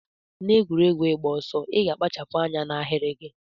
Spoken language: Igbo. Na egwuregwu igba ọsọ iga akpachapu anya na ahiri gi.